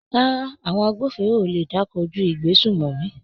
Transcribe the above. Rárá, àwọn agbófinró ò lè dá kojú ìgbésùmòmí.